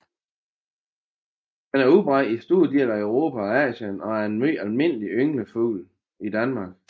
Den er udbredt i store dele af Europa og Asien og er en meget almindelig ynglefugl i Danmark